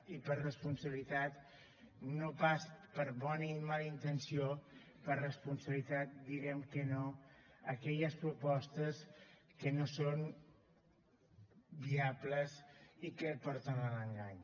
i per responsabilitat no pas per bona ni mala intenció per responsabilitat direm que no a aquelles propostes que no són viables i que porten a l’engany